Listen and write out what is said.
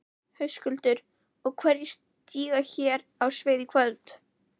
Höskuldur: Og hverjir stíga hér á svið í kvöld?